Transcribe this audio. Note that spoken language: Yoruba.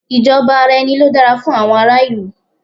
Ìjọba ara ẹni ló dára fún àwọn ará ìlú